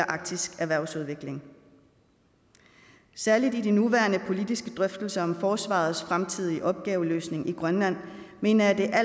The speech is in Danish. arktisk erhvervsudvikling særlig i de nuværende politiske drøftelser om forsvarets fremtidige opgaveløsning i grønland mener jeg at det er